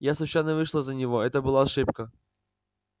я случайно вышла за него это была ошибка